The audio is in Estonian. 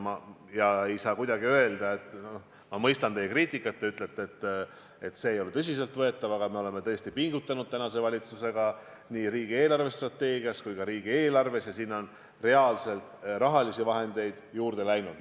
Ma mõistan küll teie kriitikat, kui te ütlete, et see ei ole tõsiselt võetav, aga me oleme tõesti pingutanud valitsusega ja nii riigi eelarvestrateegiasse kui ka riigieelarvesse on reaalselt rahalisi vahendeid juurde läinud.